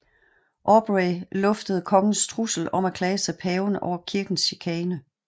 Aubrey luftede kongens trussel om at klage til paven over kirkens chikane